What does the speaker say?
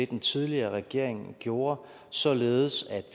den tidligere regering gjorde således at